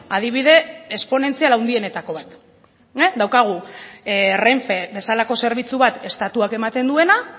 adibide esponentzial handienetako bat daukagu renfe bezalako zerbitzu bat estatuak ematen duena